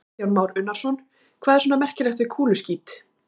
Kristján Már Unnarsson: Hvað er svona merkilegt við kúluskít?